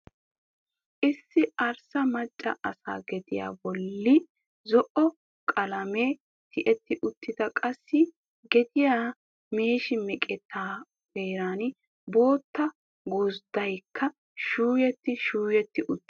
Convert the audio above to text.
Issi arssa macca asa gediya bolli zo"o qalamee tiyetti uttiis, qassi gediya meeshi meqqettaa heeran bootta gozddaykka shuuyetti shuuyetti uttii.